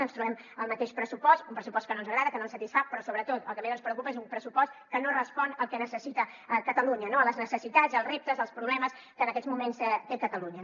ens trobem el mateix pressupost un pressupost que no ens agrada que no ens satisfà però sobretot el que més ens preocupa és que és un pressupost que no respon al que necessita catalunya no a les necessitats als reptes als problemes que en aquests moments té catalunya